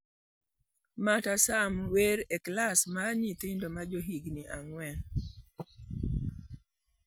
Marta Sam wer e klas mar nyithindo ma johigini ang'wen.